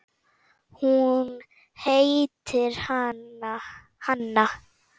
Hún heitir Hanna.